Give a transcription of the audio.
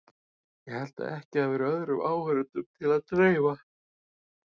Ég held að ekki hafi verið öðrum áheyrendum til að dreifa.